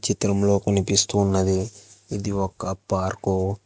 చిత్రంలో కనిపిస్తూ ఉన్నది ఇది ఒక్క పార్క్ .